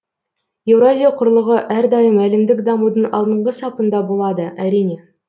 еуразия құрлығы әрдайым әлемдік дамудың алдыңғы сапында болады әрине